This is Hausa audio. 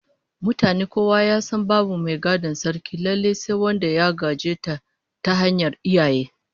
Mutane kowa ya san babu mai gadon Sarkin lallai sai wanda ya gaje ta ta hanyar iyaye